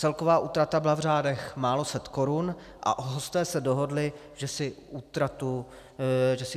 Celková útrata byla v řádech málo set korun a hosté se dohodli, že si útratu rozdělí.